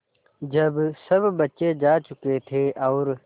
जब सब बच्चे जा चुके थे और